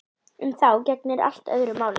Um þá gegnir allt öðru máli.